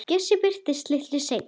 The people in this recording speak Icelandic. Bjössi birtist litlu seinna.